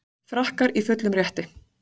Frakkar í fullum rétti